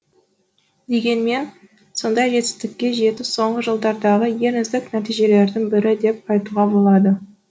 дегенмен сондай жетістікке жету соңғы жылдардағы ең үздік нәтижелердің бірі деп айтуға болады